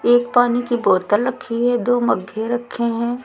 एक पानी की बोतल रखी है दो मग्घे रखे हैं।